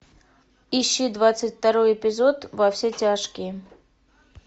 ищи двадцать второй эпизод во все тяжкие